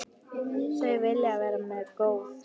Þau vilja vera mér góð.